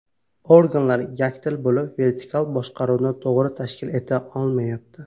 Organlar yakdil bo‘lib, vertikal boshqaruvni to‘g‘ri tashkil eta olmayapti.